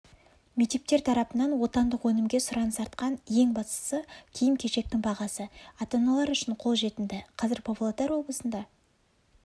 мектептер тарапынан отандық өнімге сұраныс артқан ең бастысы киім-кешектің бағасы ата-аналар үшін қолжетімді қазір павлодар облысында